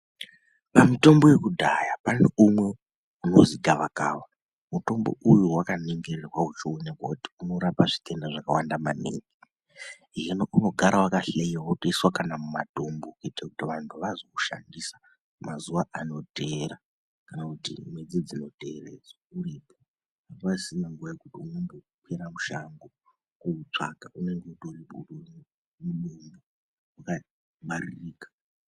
Pamitombo yakudhaya paneumwe unozigavakava, mutombo uyu wakaningirwa uchiwonekwa kuti unorapa zvitenda zvakawanda maningi ,zvinounogare waka hloyiwa wotoiswa kanamumatombo kuitira kuti vanhu vazowushandisa mazuwa anoteera kana kuti mwedzi dzinotevera uripo, hapasisina nguva yekukwire mushango kuutsvaga unenge utoripo wakangwaririka.